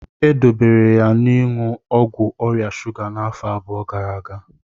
E dobere ya n'iṅụ ọgwụ ọrịa shuga n'afọ abụọ gara aga.